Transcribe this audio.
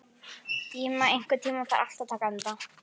Íma, einhvern tímann þarf allt að taka enda.